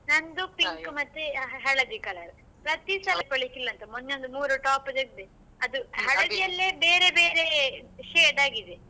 ನಂದು ಮತ್ತೆ ಹಳದಿ colour . ಪ್ರತಿ ಮೊನ್ನೆ ಒಂದು ಮೂರ್ top ತೆಗ್ದೆ ಅದು ಬೇರೆ ಬೇರೆ shade ಆಗಿದೆ .